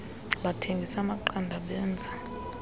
bathengisa amaqanda benza